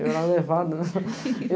Eu era levada.